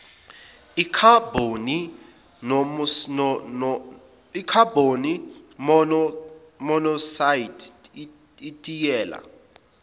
ikhabhoni monoksayidi itiyela